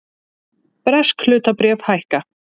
Bresk hlutabréf hækka